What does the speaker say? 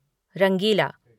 रंगीला